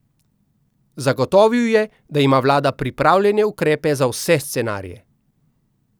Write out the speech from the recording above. Zagotovil je, da ima vlada pripravljene ukrepe za vse scenarije.